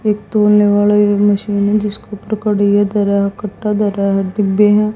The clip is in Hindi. एक तोड़ने वाला ये मशीन है जिसको पूरा काट ही दे रहा है काट दे रहा है डिब्बे है।